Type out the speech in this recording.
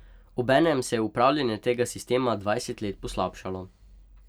Obenem se je upravljanje tega sistema dvajset let slabšalo.